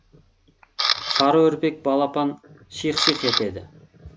сары үрпек балапан шиқ шиқ етеді